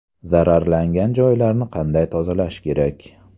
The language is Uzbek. Zararlangan joylarni qanday tozalash kerak?